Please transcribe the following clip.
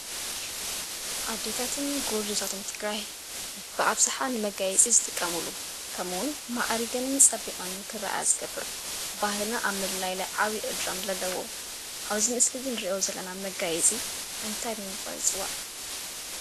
ኣዴታትን ጎርዞታትን ትግራይ ብኣብዝሓ ንመጋየፂ ዝጥቀሙሉ ከምኡ እዉን ማዕሪገንን ፀቢቐንን ክርኣያ ዝገብር ባህሊ ኣብ ምልላይ ዓብዪ እጃም ዘለዎ ኣብዚ ምስሊ እዚ እንሪኦ ዘለና መጋየፂ እንታይ ብምባል ይፅዋዕ?